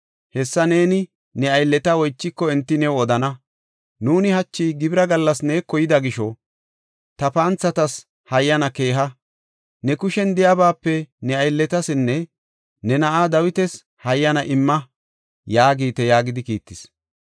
Hessa neeni ne aylleta oychiko enti new odana. Nuuni hachi gibira gallas neeko yida gisho, ta panthatas hayyana keeha. Ne kushen de7iyabaape ne aylletasinne ne na7aa Dawitas hayyana imma’ yaagite” yaagidi kiittis.